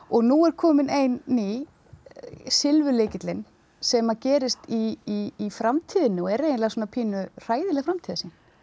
nú er komin ein ný sem að gerist í framtíðinni og er eiginlega svona pínu hræðileg framtíðarsýn